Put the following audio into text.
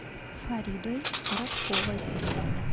фаридой коротковой